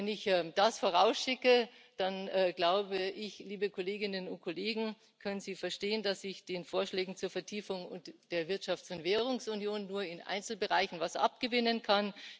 Wenn ich das vorausschicke, dann glaube ich, liebe Kolleginnen und Kollegen, können Sie verstehen, dass ich den Vorschlägen zur Vertiefung der Wirtschafts und Währungsunion nur in Einzelbereichen etwas abgewinnen kann.